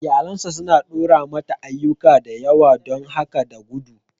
Iyalinsa suna ɗora mata ayyuka da yawa don haka ta gudu.